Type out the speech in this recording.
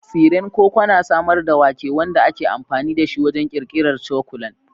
Tsiren koko na samar da wake, wanda ake amfani da shi wajen ƙirƙirar cakulan.